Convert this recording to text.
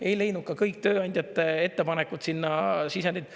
Ei leidnud ka kõik tööandjate ettepanekud sinna sisendit.